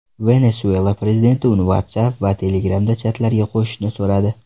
Venesuela prezidenti uni WhatsApp va Telegram’da chatlarga qo‘shishni so‘radi.